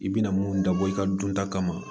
I bɛna mun dabɔ i ka dun ta kama